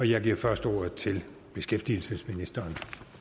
jeg giver først ordet til beskæftigelsesministeren